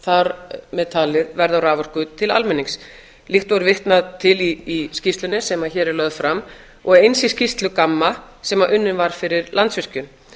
þar með talið verð á raforku til almennings líkt og vitnað er til í skýrslunni sem hér er lögð fram og eins í skýrslu gamma sem unnin var fyrir landsvirkjun